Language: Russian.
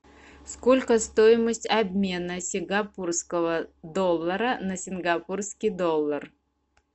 сколько стоимость обмена сингапурского доллара на сингапурский доллар